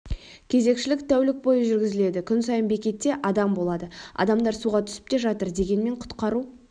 кезекшілік тәулік бойы жүргізіледі күн сайын бекетте адам болады адамдар суға түсіп те жатыр дегенмен құтқару